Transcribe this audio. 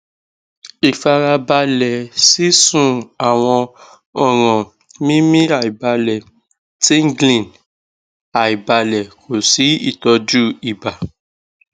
ifarabale sisun awon oran mimiaibale tinglingaibale ko si itoju iba